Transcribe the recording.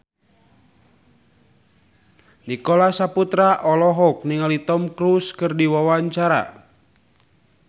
Nicholas Saputra olohok ningali Tom Cruise keur diwawancara